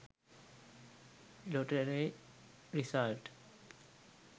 lottery result